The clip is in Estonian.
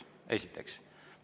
Seda esiteks.